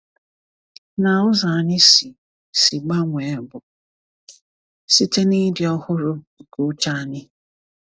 Na ụzọ anyị si si gbanwee bụ site n’ịdị ọhụrụ nke uche anyị.